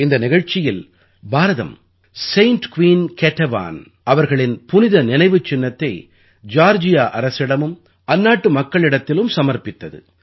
இந்த நிகழ்ச்சியில் Bharatam saint queen Ketevanபுனித இராணி கேடேவானுடைய புனித நினைவுச்சின்னத்தை ஜார்ஜியா அரசிடமும் அந்நாட்டு மக்களிடத்திலும் சமர்ப்பித்தது